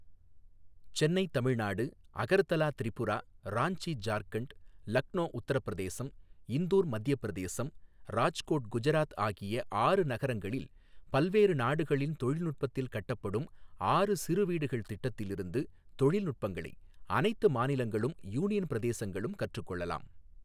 சென்னை தமிழ்நாடு, அகர்தலா திரிபுரா, ராஞ்சி ஜார்க்கண்ட், லக்னோ உத்தரப்பிரதேசம், இந்தூர் மத்தியப் பிரதேசம், ராஜ்கோட் குஜராத் ஆகிய ஆறு நகரங்கஙளில், பல்வேறு நாடுகளின் தொழில்நுட்பத்தில் கட்டப்படும் ஆறு சிறு வீடுகள் திட்டத்தில் இருந்து தொழில்நுட்பங்களை அனைத்து மாநிலங்களும், யூனியன் பிரதேசங்களும் கற்றுக் கொள்ளலாம்.